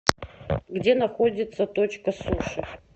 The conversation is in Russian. где находится точка суши